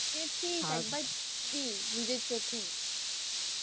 একবার দেখা খুব ইচ্ছা নিজের চোখে।